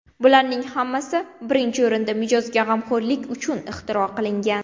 Bularning hammasi, birinchi o‘rinda, mijozga g‘amxo‘rlik uchun ixtiro qilingan.